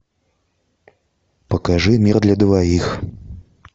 покажи мир для двоих